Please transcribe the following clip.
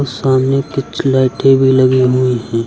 सामने कुछ लाइटें भी लगी हुई हैं।